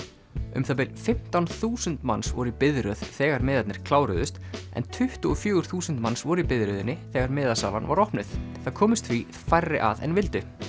um það bil fimmtán þúsund manns voru í biðröð þegar miðarnir kláruðust en tuttugu og fjögur þúsund manns voru í biðröðinni þegar miðasalan var opnuð það komust því færri að en vildu